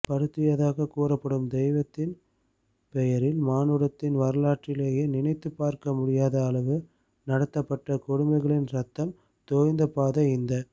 படுத்தியதாகக் கூறப்படும் தெய்வத்தின் பெயரில் மானுடத்தின் வரலாற்றிலேயே நினைத்துப்பார்க்க முடியாத அளவு நடத்தப்பட்ட கொடுமைகளின் இரத்தம் தோய்ந்த பாதை இந்த